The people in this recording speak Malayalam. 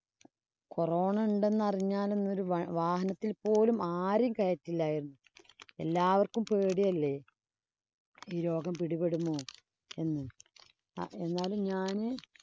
corona ഉണ്ടെന്നറിഞ്ഞാലന്നൊരു വാഹനത്തില്‍ പോലും ആരേം കയറ്റില്ലാരുന്നു. എല്ലാവര്‍ക്കും പേടിയല്ലേ? ഈ രോഗം പിടിപെടുമോ എന്ന്.